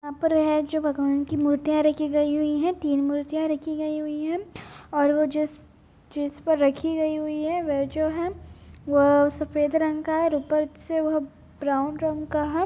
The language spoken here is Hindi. यहाँ पर है जो भगवान की मूर्तियां रखी गई हुई हैं तीन मूर्तियां रखी गई हुई हैं और वो जिस-जिस पर रखी गई हुई हैं वह जो है वह सफेद रंग का है और ऊपर से वह ब्राउन रंग का है।